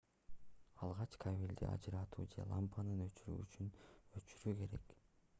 алгач кабелди ажыратуу же лампанын өчүргүчүн өчүрүү керек